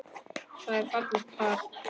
Það var fallegt par.